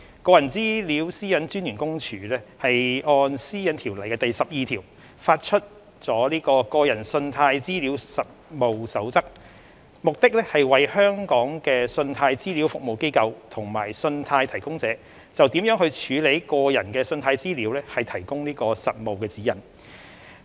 個人資料私隱專員公署按《私隱條例》第12條發出了《個人信貸資料實務守則》，目的是為香港的信貸資料服務機構及信貸提供者就如何處理個人信貸資料提供實務指引。